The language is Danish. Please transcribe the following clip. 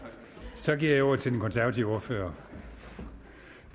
så giver jeg ordet til den konservative ordfører